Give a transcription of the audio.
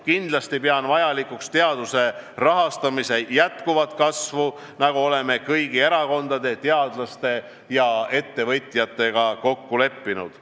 Kindlasti pean vajalikuks teaduse rahastamise jätkuvat kasvu, nagu oleme kõigi erakondade, teadlaste ja ettevõtjatega kokku leppinud.